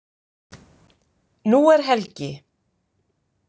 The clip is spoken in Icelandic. Nú er helgi.